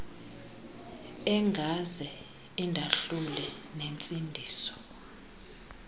engaze indahlule nentsindiso